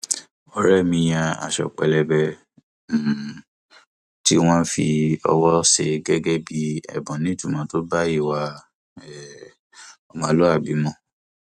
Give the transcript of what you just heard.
ọrẹ mi yan aṣọ pélébá um tí wọn fi ọwọ ṣe gẹgẹ bí ẹbùn nítumọ tó bá ìwà um ọmọlúwàbí mu